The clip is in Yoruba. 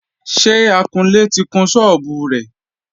Ṣé akunlé ti kun sọ́ọ́bù rẹ?